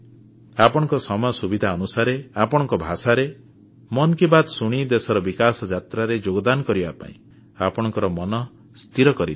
ଆପଣଙ୍କ ସମୟ ସୁବିଧା ଅନୁସାରେ ଆପଣଙ୍କ ଭାଷାରେ ମନ୍ କି ବାତ୍ ଶୁଣି ଦେଶର ବିକାଶଯାତ୍ରାରେ ଯୋଗଦାନ କରିବା ପାଇଁ ଆପଣଙ୍କ ମନ ସ୍ଥିର କରିନିଅନ୍ତୁ